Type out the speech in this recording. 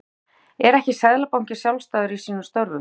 Gunnar Atli: Er ekki Seðlabankinn sjálfstæður í sínum störfum?